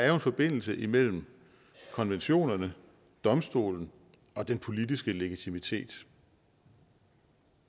er en forbindelse imellem konventionerne domstolen og den politiske legitimitet